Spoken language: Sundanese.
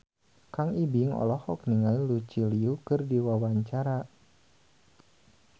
Kang Ibing olohok ningali Lucy Liu keur diwawancara